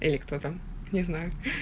или кто там не знаю